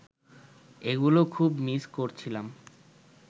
এগুলো খুব মিস করছিলাম